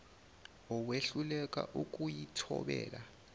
owehluleka ukuyi thobela